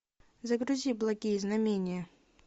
загрузи благие знамения